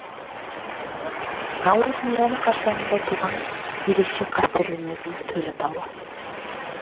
наурыз мейрамы қарсаңында туған ерекше қастерленетін төл атауы